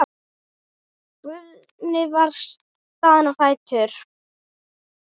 Guðni var staðinn á fætur.